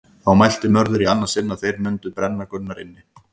Þá mælti Mörður í annað sinn að þeir mundu brenna Gunnar inni.